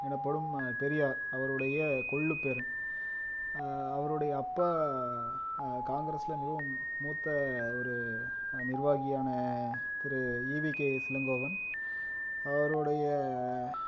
எனப்படும் பெரியார் அவருடைய கொள்ளுப் பேரன் ஆஹ் அவருடைய அப்பா அஹ் காங்கிரஸ்ல மிகவும் மூத்த ஒரு அஹ் நிர்வாகியான Thiru E V K S Elangovan அவருடைய